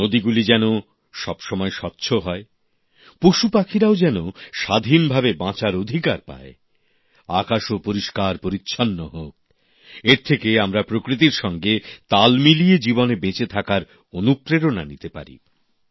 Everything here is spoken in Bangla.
নদীগুলি যেন সবসময় স্বচ্ছ হয় পশুপাখিরাও যেন স্বাধীনভাবে বাঁচার অধিকার পায় আকাশও পরিষ্কারপরিচ্ছন্ন হোক এর থেকে আমরা প্রকৃতির সঙ্গে তাল মিলিয়ে জীবনে বেঁচে থাকার অনুপ্রেরণা নিতে পারি